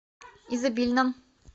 изобильном